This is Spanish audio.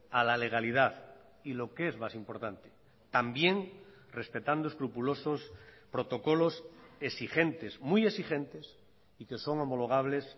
a la legalidad y lo que es más importante también respetando escrupulosos protocolos exigentes muy exigentes y que son homologables